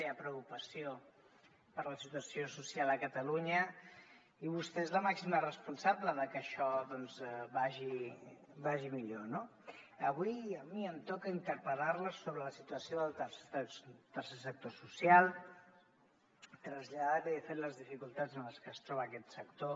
hi ha preocupació per la situació social a catalunya i vostè és la màxima responsable de que això vagi millor no avui a mi em toca interpel·lar la sobre la situació del tercer sector social traslladar li de fet les dificultats en les que es troba aquest sector